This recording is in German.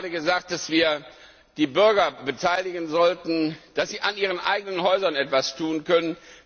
Ich hatte gerade gesagt, dass wir die Bürger beteiligen sollten, damit sie an ihren eigenen Häusern etwas tun können.